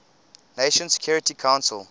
nations security council